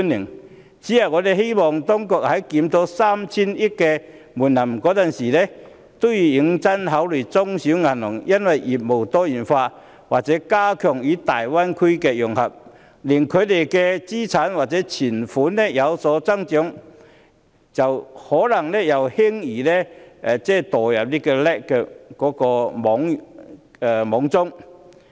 我只是希望當局在檢討 3,000 億元的門檻時，認真考慮中小型銀行因為業務多元化或加強與大灣區的融合，令資產或存款有所增長，可能又會輕易墮入 LAC 的網中。